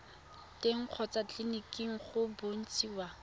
teng kgotsa tleleniki go bontshiwa